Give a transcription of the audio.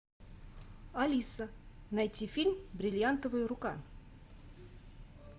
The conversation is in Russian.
алиса найти фильм бриллиантовая рука